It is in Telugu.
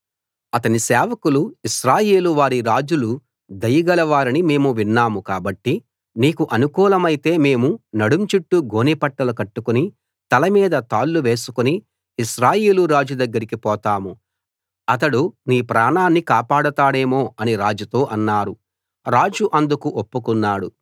అతని సేవకులు ఇశ్రాయేలు వారి రాజులు దయగల వారని మేము విన్నాం కాబట్టి నీకు అనుకూలమైతే మేము నడుం చుట్టూ గోనెపట్టాలు కట్టుకుని తల మీద తాళ్ళు వేసుకుని ఇశ్రాయేలు రాజు దగ్గరికి పోతాం అతడు నీ ప్రాణాన్ని కాపాడతాడేమో అని రాజుతో అన్నారు రాజు అందుకు ఒప్పుకున్నాడు